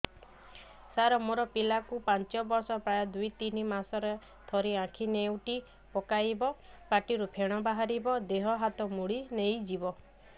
ସାର ମୋ ପିଲା କୁ ପାଞ୍ଚ ବର୍ଷ ପ୍ରାୟ ଦୁଇରୁ ତିନି ମାସ ରେ ଥରେ ଆଖି ନେଉଟି ପକାଇବ ପାଟିରୁ ଫେଣ ବାହାରିବ ଦେହ ହାତ ମୋଡି ନେଇଯିବ